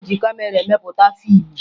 E ji kamera emepụta fiimụ